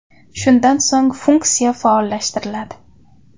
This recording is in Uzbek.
Shundan so‘ng funksiya faolllashtiriladi.